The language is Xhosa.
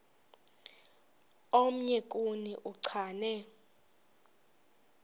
omnye kuni uchane